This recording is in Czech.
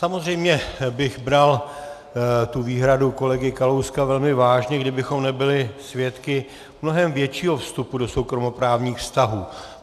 Samozřejmě bych bral tu výhradu kolegy Kalouska velmi vážně, kdybychom nebyli svědky mnohem většího vstupu do soukromoprávních vztahů.